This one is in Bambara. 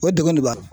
O ye degun de b'a la